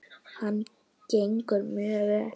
Hann gengur mjög vel.